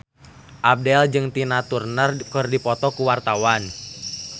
Abdel jeung Tina Turner keur dipoto ku wartawan